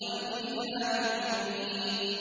وَالْكِتَابِ الْمُبِينِ